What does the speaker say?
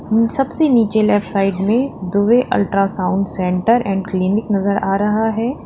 सबसे नीचे left side में Dubey ultrasound centre and clinic नजर आ रहा है।